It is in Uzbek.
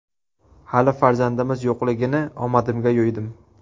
Hali farzandimiz yo‘qligini omadimga yo‘ydim.